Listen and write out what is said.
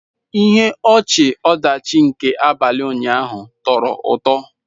Ihe ọchị-ọdachi nke abalị ụnyaahụ tọrọ ụtọ.